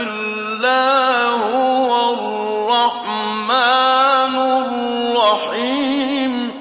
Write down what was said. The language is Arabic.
إِلَّا هُوَ الرَّحْمَٰنُ الرَّحِيمُ